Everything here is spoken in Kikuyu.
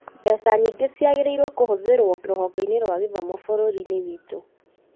Mbeca nyingĩ ciagĩrĩrũo kũhũthĩrwo rũhonge-inĩ rwa gĩthomo bũrũri-inĩ witũ